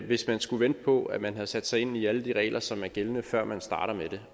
hvis man skulle vente på at man havde sat sig ind i alle de regler som er gældende før man starter med